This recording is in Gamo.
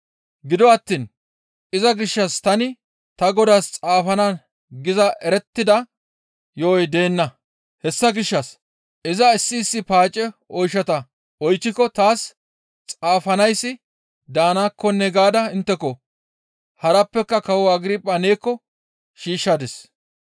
«Gido attiin iza gishshas tani ta godaas xaafana giza erettida yo7oy deenna; hessa gishshas iza issi issi paace oyshata oychchiko taas xaafanayssi daanakkonne gaada intteko, harappeka kawo Agirpha neekko shiishshadis.